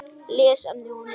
Lesefni og mynd